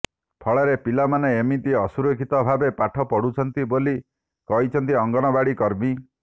ଫଳରେ ପିଲାମାନେ ଏମିତି ଅସୁରକ୍ଷିତ ଭାବେ ପାଠ ପଢୁଛନ୍ତି ବୋଲି କହିଛନ୍ତି ଅଙ୍ଗନବାଡି କର୍ମୀ